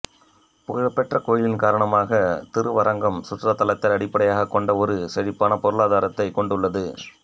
புகழ்பெற்ற கோயிலின் காரணமாக திருவரங்கம் சுற்றுலாத்தளத்தை அடிப்படையாகக் கொண்ட ஒரு செழிப்பான பொருளாதாரத்தை கொண்டுள்ளது